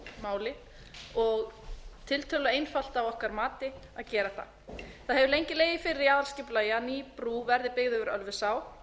máli og tiltölulega einfalt að okkar mati að gera það það hefur lengi legið fyrir í aðalskipulagi að ný brú verði byggð yfir ölfusá